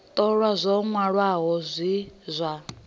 ṱolwa zwa wanala zwi zwa